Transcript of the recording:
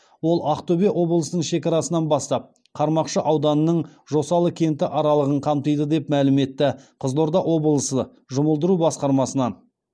ол ақтөбе облысының шекарасынан бастап қармақшы ауданының жосалы кенті аралығын қамтиды деп мәлім етті қызылорда облысы жұмылдыру басқармасынан